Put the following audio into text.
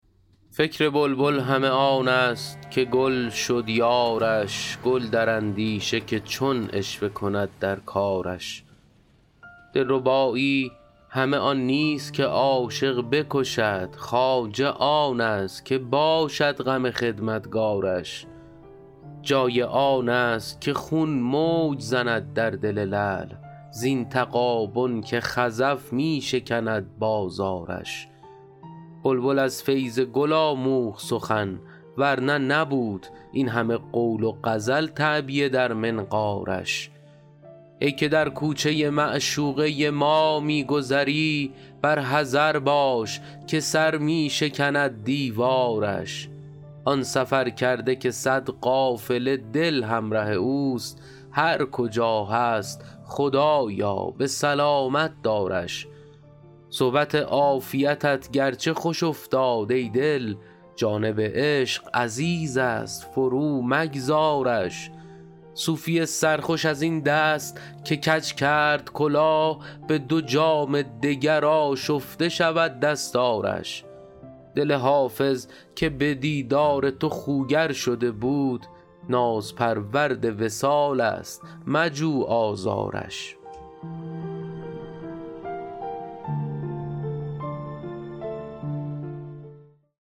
فکر بلبل همه آن است که گل شد یارش گل در اندیشه که چون عشوه کند در کارش دلربایی همه آن نیست که عاشق بکشند خواجه آن است که باشد غم خدمتکارش جای آن است که خون موج زند در دل لعل زین تغابن که خزف می شکند بازارش بلبل از فیض گل آموخت سخن ور نه نبود این همه قول و غزل تعبیه در منقارش ای که در کوچه معشوقه ما می گذری بر حذر باش که سر می شکند دیوارش آن سفرکرده که صد قافله دل همره اوست هر کجا هست خدایا به سلامت دارش صحبت عافیتت گرچه خوش افتاد ای دل جانب عشق عزیز است فرومگذارش صوفی سرخوش از این دست که کج کرد کلاه به دو جام دگر آشفته شود دستارش دل حافظ که به دیدار تو خوگر شده بود نازپرورد وصال است مجو آزارش